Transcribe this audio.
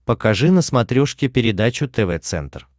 покажи на смотрешке передачу тв центр